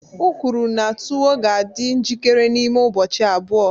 O kwuru na tuwo ga-adị njikere n'ime ụbọchị abụọ